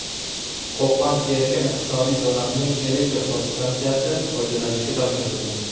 Qo‘qon erkin iqtisodiy zonasining elektr podstansiyasi foydalanishga topshirildi.